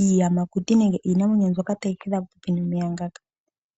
iiyamakuti nenge iinamwenyo mbyoka tayi hedha popepi nomeya ngaka.